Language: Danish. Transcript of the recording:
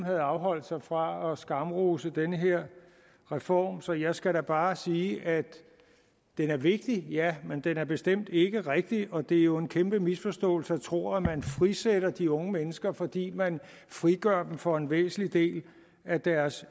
havde afholdt sig fra at skamrose den her reform så jeg skal bare sige at den er vigtig ja men den er da bestemt ikke rigtig og det er jo en kæmpe misforståelse at tro at man frisætter de unge mennesker fordi man frigør dem for en væsentlig del af deres